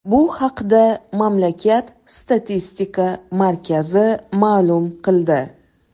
Bu haqda mamlakat statistika markazi ma’lum qildi .